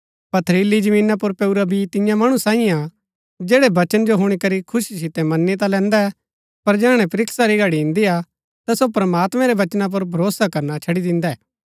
पथरीली जमीना पुर पैऊरा बी तियां मणु सैईऐ हा जैड़ै वचन जो हुणी करी खुशी सितै मनी ता लैन्दै पर जैहणै परीक्षा री घड़ी इन्दीआ ता सो प्रमात्मैं रै वचना पुर भरोसा करना छड़ी दिन्दै